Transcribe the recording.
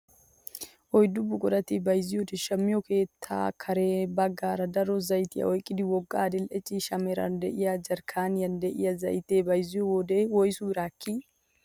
Issi buqurata bayzziyoonne shammiyoo keettaayo kare baggaara daro zaytiyaa oyqqida wogga adil'e ciishsh meraara de'iyaa jarkkaaniyaan de'iyaa zaytee bayzziyo wode woysu biraa ekkii?